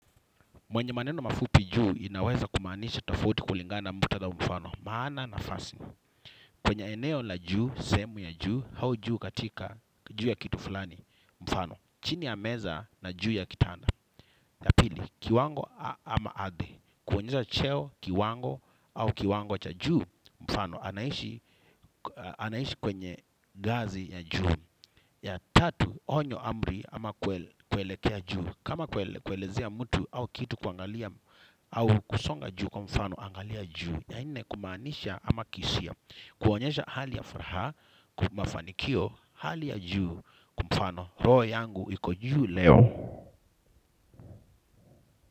Mwenye maneno mafupi juu, inaweza kumaanisha tofauti kulingana muktadh au mfano. Maana nafasi. Kwenye eneo la juu, sehemu ya juu, au juu katika juu ya kitu fulani, mfano. Chini ya meza na juu ya kitana. Ya pili, kiwango ama ardhi. Kuonyesha cheo, kiwango, au kiwango cha juu, mfano. Anaishi kwenye ngazi ya juu. Ya tatu, onyo, amri ama kuelekea juu. Kama kuelezea mtu au kitu kuangalia au kusonga juu kwa mfano, angalia juu. Ya nne kumaanisha kama kihisia. Kuonyesha hali ya furaha. Kwa mafanikio hali ya juu kwa mfano roho yangu iko juu leo.